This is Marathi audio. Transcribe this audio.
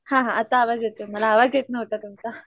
हा हा आता आवाज येतोय मला आवाज येत नव्हता मला तुमचा